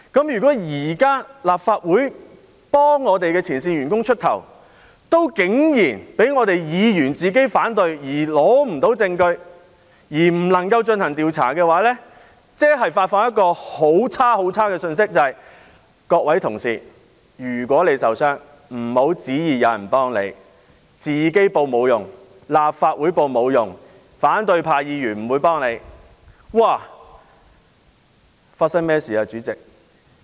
如果現在立法會為前線員工出頭，卻竟然因為議員反對而無法蒐集證據，以致無法進行調查，便會發出一個很惡劣的信息：各位同事，如果你受傷了，不要期望有人會幫助你，自己申報沒有用，立法會申報亦沒有用，反對派議員不會幫助你。